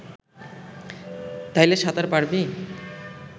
তাইলে সাঁতার পারবি